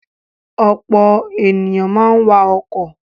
Ọ̀pọ̀ ènìyàn máa ń wa ọkọ̀.